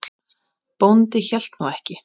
Bóndi hélt nú ekki.